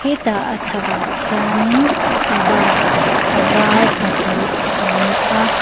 e tah a chhak ah khianin bus a var pahnih a awm a.